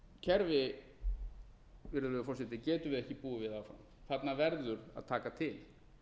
kerfi virðulegi forseti getum við ekki búið við áfram þarna verður að taka til